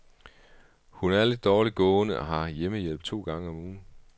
Hun er lidt dårligt gående og har hjemmehjælp to gange om ugen.